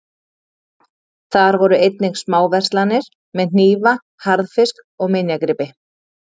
Þar voru einnig smáverslanir með hnífa, harðfisk, og minjagripi.